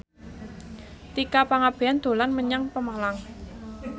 Tika Pangabean dolan menyang Pemalang